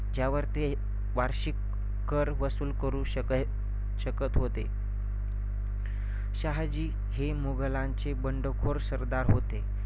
ज्या वर ते वार्षिक कर वसूल करू शकय~ शकत होते. शहाजी हे मुघलांचे बंडखोर सरदार होते.